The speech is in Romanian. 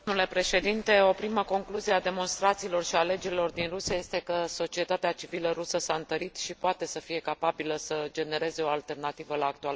O primă concluzie a demonstrațiilor și a alegerilor din Rusia este că societatea civilă rusă s a întărit și poate să fie capabilă să genereze o alternativă la actuala putere.